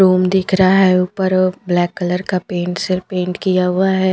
Room दिख रहा है ऊपर अ ब्लैक कलर का पेंट से पेंट किया हुआ है।